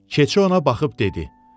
Keçi ona baxıb dedi: